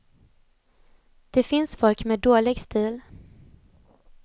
Det finns folk med dålig stil.